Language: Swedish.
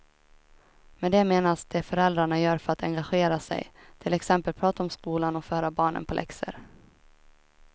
Med det menas det föräldrarna gör för att engagera sig, till exempel prata om skolan och förhöra barnen på läxor.